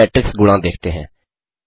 अब मेट्रिक्स गुणा देखते हैं